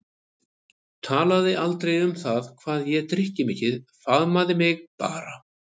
Talaði aldrei um það hvað ég drykki mikið, faðmaði mig bara.